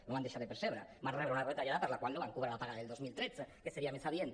no van deixar de percebre van rebre una retallada per la qual no van cobrar la paga del dos mil tretze que seria més adient